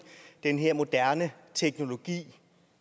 den her moderne teknologi